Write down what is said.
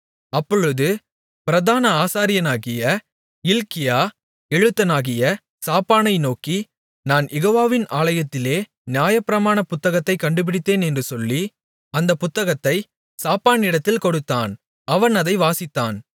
அப்பொழுது பிரதான ஆசாரியனாகிய இல்க்கியா எழுத்தனாகிய சாப்பானை நோக்கி நான் யெகோவாவின் ஆலயத்திலே நியாயப்பிரமாண புத்தகத்தைக் கண்டுபிடித்தேன் என்று சொல்லி அந்தப் புத்தகத்தை சாப்பானிடத்தில் கொடுத்தான் அவன் அதை வாசித்தான்